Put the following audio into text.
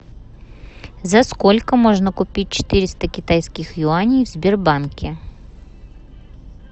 за сколько можно купить четыреста китайских юаней в сбербанке